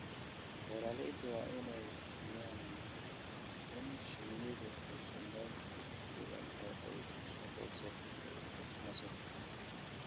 Beeralayda waa inay hubiyaan in shinnidu hesho meel ku filan oo ay ku shaqeyso oo ay ku nasato.